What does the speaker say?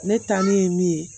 Ne taa min ye min ye